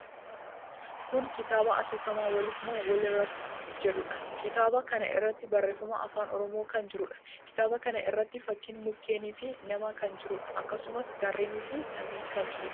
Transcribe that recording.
Kuni kitaaba asoosamaa 'waliif moo walirratti?' jedhuudha. Kitaaba kana irratti barreeffamni afaan Oromoo kan jiruudha. Kitaaba kana irratti fakkiin mukkeeni fi namaa kan jiruudha. Akkasumas, gaarreni fi samiin kan jiruudha.